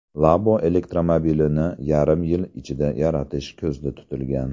Labo elektromobilini yarim yil ichida yaratish ko‘zda tutilgan.